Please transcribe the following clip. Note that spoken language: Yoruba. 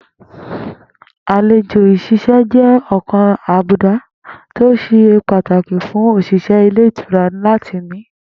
Àlejò s̩ís̩e jé̩ ò̩kan lára àbùdá tí o se pataki fun òs̩ìs̩é̩ ilé ìtura lati ní